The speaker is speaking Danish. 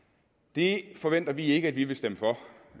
det forventer vi ikke at vi vil stemme for